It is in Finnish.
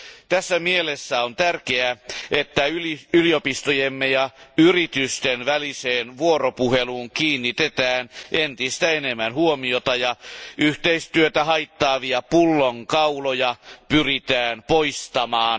Tässä mielessä on tärkeää, että yliopistojemme ja yritysten väliseen vuoropuheluun kiinnitetään entistä enemmän huomiota ja yhteistyötä haittaavia pullonkauloja pyritään poistamaan.